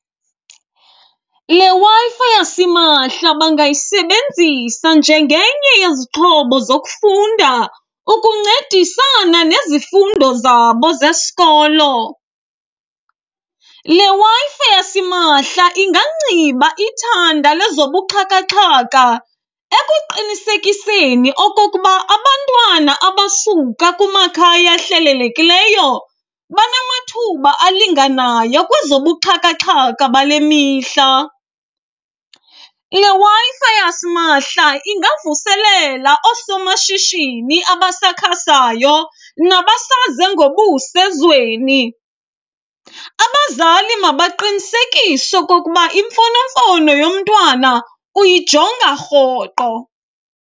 Le Wi-Fi yasimahla bangayisebenzisa njengenye yezixhobo zokufunda ukuncedisana nezifundo zabo zesikolo. Le Wi-Fi yasimahla ingangciba ithanda lezobuxhakaxhaka, ekuqinisekiseni okokuba abantwana abasuka kumakhaya ahlelelekileyo, banamathuba alinganayo kwezobuxhakaxhaka bale mihla. Le Wi-Fi yasimahla ingavuselela oosomashishini abasakhasayo nabasaze ngobuso ezweni. Abazali makaqinisekise okokuba imfonomfono yomntwana uyijonga rhoqo.